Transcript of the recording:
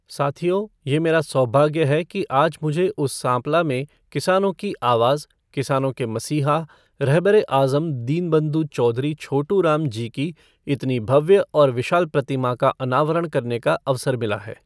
साथियों, ये मेरा सौभाग्य है कि आज मुझे उस सांपला में किसानों की आवाज़, किसानों के मसीहा, रहबरे आज़म दीनबंधु चौधरी छोटूराम जी की इतनी भव्य और विशाल प्रतिमा का अनावरण करने का अवसर मिला है।